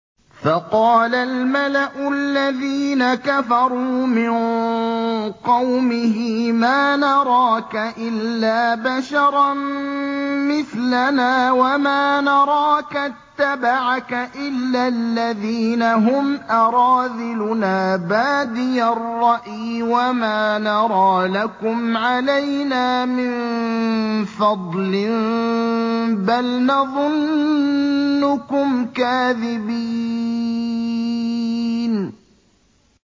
فَقَالَ الْمَلَأُ الَّذِينَ كَفَرُوا مِن قَوْمِهِ مَا نَرَاكَ إِلَّا بَشَرًا مِّثْلَنَا وَمَا نَرَاكَ اتَّبَعَكَ إِلَّا الَّذِينَ هُمْ أَرَاذِلُنَا بَادِيَ الرَّأْيِ وَمَا نَرَىٰ لَكُمْ عَلَيْنَا مِن فَضْلٍ بَلْ نَظُنُّكُمْ كَاذِبِينَ